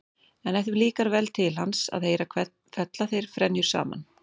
En ef þeim líkar vel til hans að heyra fella þeir frenjur saman.